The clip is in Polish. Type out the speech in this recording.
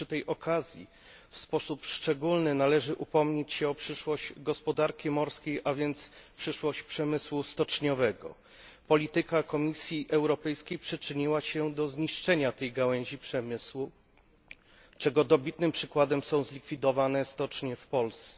Przy tej okazji w sposób szczególny należy upomnieć się o przyszłość gospodarki morskiej, a więc przyszłość przemysłu stoczniowego. Polityka Komisji Europejskiej przyczyniła się do zniszczenia tej gałęzi przemysłu, czego dobitnym przykładem są zlikwidowane stocznie w Polsce.